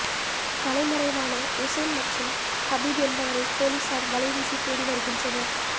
தலைமறைவான உசேன் மற்றும் ஹபிப் என்பவரை போலீசார் வலைவீசி தேடி வருகின்றனர்